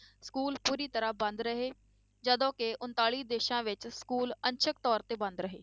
School ਪੂਰੀ ਤਰ੍ਹਾਂ ਬੰਦ ਰਹੇ ਜਦੋਂ ਕਿ ਉਣਤਾਲੀ ਦੇਸਾਂ ਵਿੱਚ school ਅੰਸ਼ਕ ਤੌਰ ਤੇ ਬੰਦ ਰਹੇ।